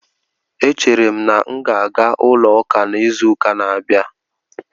Echere m na m ga-aga ulo uka na izuuka na-abia